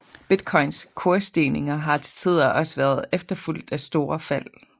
Bitcoins kursstigninger har til tider også været efterfulgt af store fald